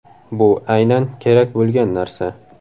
Bu aynan kerak bo‘lgan narsa.